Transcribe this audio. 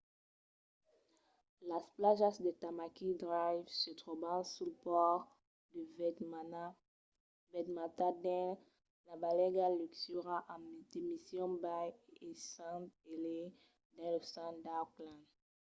las plajas de tamaki drive se tròban sul pòrt de waitemata dins la banlèga luxuosa de mission bay e st heliers dins lo centre d'auckland